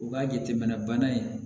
U ka jateminɛ bana in